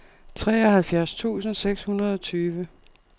treoghalvfjerds tusind seks hundrede og tyve